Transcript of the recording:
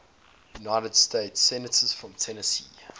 united states senators from tennessee